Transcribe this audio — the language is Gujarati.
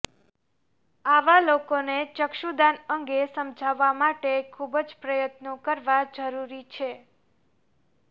આવા લોકોને ચક્ષુદાન અંગે સમજાવવા માટે ખૂબ જ પ્રયત્નો કરવા જરૂરી છે